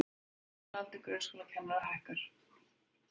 Meðalaldur grunnskólakennara hækkar